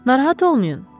Narahat olmayın.